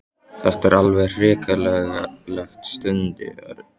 Þetta er alveg hrikalegt stundi Örn.